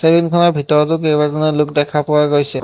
Salon খনৰ ভিতৰটো কেইবাজনো লোক দেখা পোৱা গৈছে।